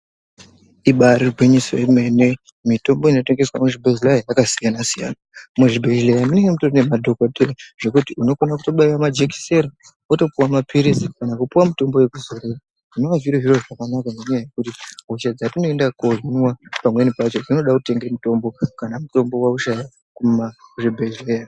Ibairi gwinyiso yemene mitombo inotengeswa muzvibhedhleya yakasiyana siyana, muzvibhedhlera munenge mutori nemadhokodheya zvekuti unogona kutobaiwa majekisera wotopuwa mapirizi kana kupuwa mitombo yekuzorera zvinova zviro zvakanaka ngenyaa yekuti hosha dzatinoende kuno hinwa pamweni pacho dzinoda kutenge mitombo kana mutombo waushaya kumazvibhedhleya.